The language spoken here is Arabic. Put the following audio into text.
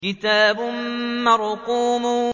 كِتَابٌ مَّرْقُومٌ